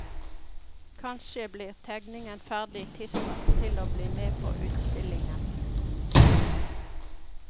Kanskje blir tegningen ferdig tidsnok til å bli med på utstillingen.